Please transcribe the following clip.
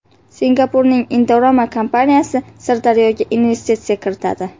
Singapurning Indorama kompaniyasi Sirdaryoga investitsiya kiritadi.